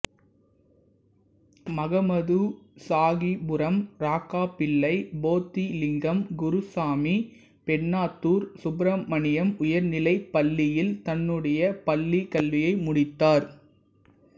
மகமதுசாகிப்புரம் ராக்கப்பிள்ளை போத்திலிங்கம் குருசாமி பெண்ணாத்தூர் சுப்பிரமணியம் உயர்நிலைப் பள்ளியில் தன்னுடைய பள்ளிக் கல்வியை முடித்தார்